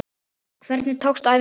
Hvernig tókst æfingin til?